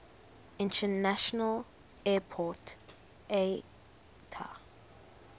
international airport iata